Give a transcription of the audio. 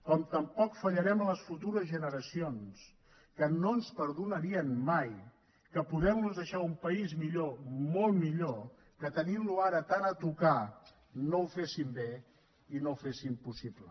com tampoc fallarem a les futures generacions que no ens perdonarien mai que podentlos deixar un país millor molt millor que tenintlo ara tan a tocar no ho féssim bé i no ho féssim possible